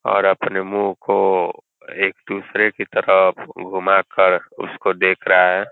और अपने मुँह को एक दूसरे की तरफ घुमा कर उसको देख रहा है।